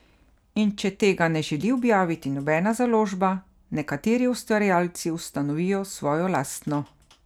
In če tega ne želi objaviti nobena založba, nekateri ustvarjalci ustanovijo svojo lastno.